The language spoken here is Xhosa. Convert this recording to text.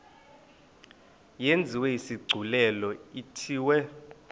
yenziwe isigculelo ithiwe